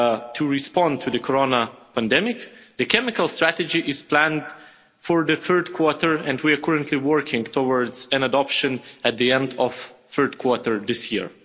to respond to the corona pandemic the chemical strategy is planned for the third quarter and we are currently working towards an adoption at the end of the third quarter this year.